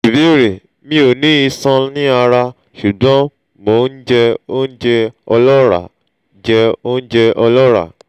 ìbéèrè: mi o ni ishan ni ara sugbon mo n je ounje olora je ounje olora